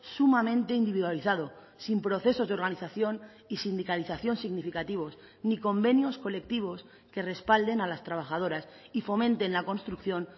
sumamente individualizado sin procesos de organización y sindicalización significativos ni convenios colectivos que respalden a las trabajadoras y fomenten la construcción